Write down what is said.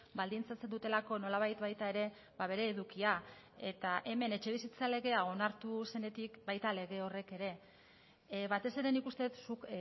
baldintzatzen dutelako nolabait baita ere bere edukia eta hemen etxebizitza legea onartu zenetik baita lege horrek ere batez ere nik uste dut zuk